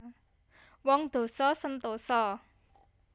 Wong dosa sentosa